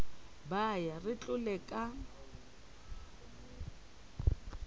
ba ya re tlole ka